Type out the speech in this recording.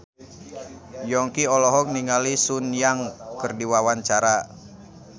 Yongki olohok ningali Sun Yang keur diwawancara